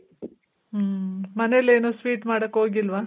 ಹ್ಮ್. ಮನೆಲೇನು sweet ಮಾಡಕ್ ಹೋಗಿಲ್ವ?